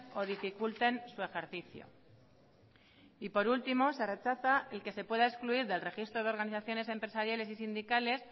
o dificulten su ejercicio y por último se rechaza el que se pueda excluir del registro de organizaciones empresariales y sindicales